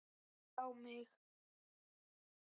Hann yrti ekki á mig.